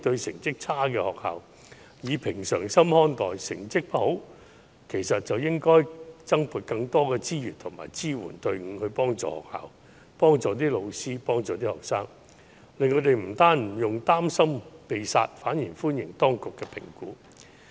成績不佳，當局其實應該增撥資源和支援隊伍幫助學校、老師和學生，令他們不但不用擔心"被殺"，反而更會歡迎當局的評估。